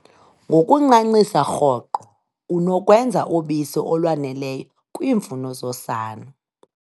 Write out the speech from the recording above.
Ngokuncancisa rhoqo, unokwenza ubisi olwaneleyo kwiimfuno zosana.